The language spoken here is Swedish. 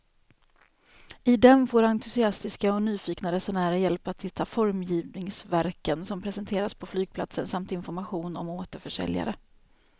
I den får entusiastiska och nyfikna resenärer hjälp att hitta formgivningsverken som presenteras på flygplatsen samt information om återförsäljare.